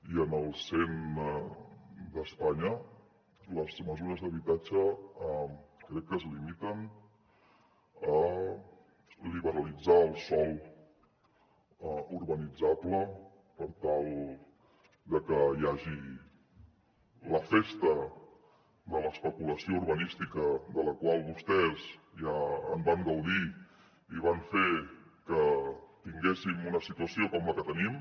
i en els cent d’espanya les mesures d’habitatge crec que es limiten a liberalitzar el sòl urbanitzable per tal de que hi hagi la festa de l’especulació urbanística de la qual vostès ja van gaudir i van fer que tinguéssim una situació com la que tenim